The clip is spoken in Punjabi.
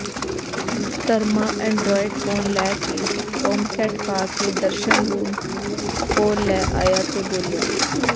ਧਰਮਾ ਐਂਡਰਾਇਡ ਫੋਨ ਲੈ ਕੇ ਟੋਮਕੈਟ ਪਾ ਕੇ ਦਰਸ਼ਨ ਲੂਣ ਕੋਲ ਲੈ ਆਇਆ ਤੇ ਬੋਲਿਆ